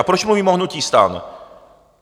A proč mluvím o hnutí STAN?